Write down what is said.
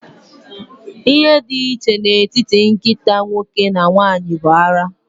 Ihe dị iche n'etiti nkịta nwoke na nwanyị bụ ara.